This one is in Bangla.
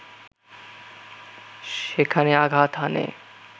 সেখানে আঘাত হানে